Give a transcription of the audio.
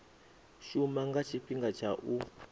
shuma nga tshifhinga tsha u